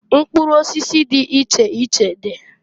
Mkpụrụ osisi di iche iche dị